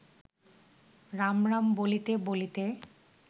রাম রাম বলিতে বলিতে